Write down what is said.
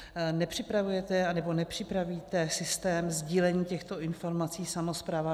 Nepřipravujete nebo nepřipravíte systém sdílení těchto informací samosprávám?